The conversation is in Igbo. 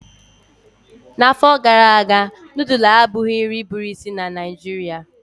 N'afọ gara aga nudulu abụghị nri bụ isi na Naijiria.